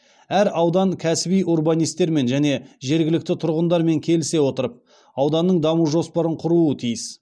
әр аудан кәсіби урбанистермен және жергілікті тұрғындармен келісе отырып ауданның даму жоспарын құруы тиіс